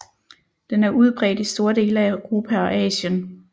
Den er udbredt i store dele af Europa og Asien